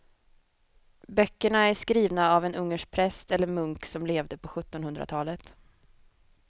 Böckerna är skrivna av en ungersk präst eller munk som levde på sjuttonhundratalet.